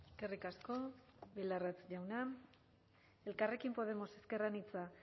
eskerrik asko bildarratz jauna elkarrekin podemos ezker anitza